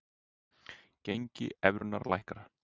Gengi evrunnar lækkar